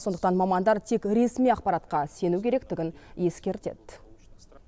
сондықтан мамандар тек ресми ақпаратқа сену керектігін ескертеді